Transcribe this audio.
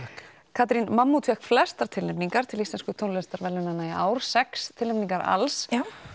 Katrín mammút fékk flestar tilnefningar til íslensku tónlistarverðlaunanna í ár sex tilnefningar alls